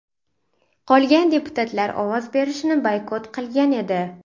Qolgan deputatlar ovoz berishni boykot qilgan edi.